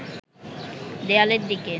দেয়ালের দিকে